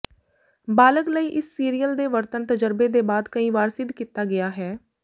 ਬਾਲਗ ਲਈ ਇਸ ਸੀਰੀਅਲ ਦੇ ਵਰਤਣ ਤਜਰਬੇ ਦੇ ਬਾਅਦ ਕਈ ਵਾਰ ਸਿੱਧ ਕੀਤਾ ਗਿਆ ਹੈ